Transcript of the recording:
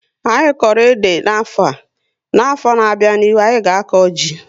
Anyị koro ede n'afọ, n'afọ na abịa n'ihu, anyị ga aka jị